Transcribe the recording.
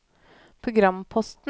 programposten